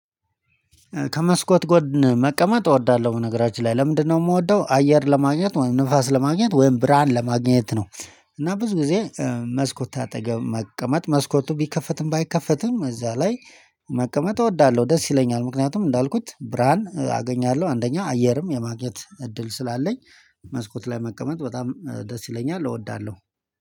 ከመስኮት ጎድ መቀመጥ እወዳለሁ በነገራችን ላይ ለምንድነው የምወደው አየር ለማግኘት ወይም ንፋስ ለማግኘት ወይም ብርሃን ለማግኘት ነው። እና ብዙ ጊዜ መስኮት አጠገብ መቀመጥ መስኮቱ ቢከፈትም ባይከፈትም እዛ ላይ መቀመጥ እወዳለሁ ደስ ይለኛል። ምክንያቱም እንዳልኩት ብርሃን አገኛለሁ አንደኛ አየርም የማግኘት እድል ስላለኝ። መስኮት ላይ መቀመጥ በጣም ደስ ይለኛል እወዳለሁ